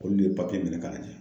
Olu le ye minɛ k'a lajɛ.